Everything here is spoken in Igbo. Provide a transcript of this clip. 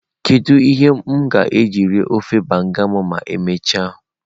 Kedu ihe m ga-eji rie ofe banga m ma emechaa?